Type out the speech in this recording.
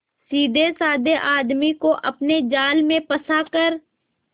सीधेसाधे आदमी को अपने जाल में फंसा कर